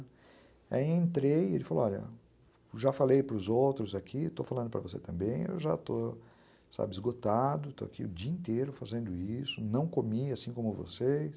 Aí eu entrei e ele falou, olha, já falei para os outros aqui, estou falando para você também, eu já estou, sabe, esgotado, estou aqui o dia inteiro fazendo isso, não comi assim como vocês.